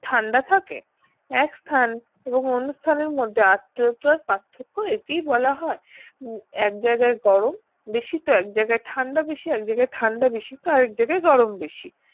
ঠান্ডা থাকে এক স্থান এবং অন্য স্থান এর মধ্যে আদ্রতার পার্থক্য একেই বলা হয় এক জায়গায় গরম বেশি তো এক জায়গায় ঠান্ডা বেশি এক জায়গায় ঠান্ডা বেশি তো আর জায়গায় গরম বেশি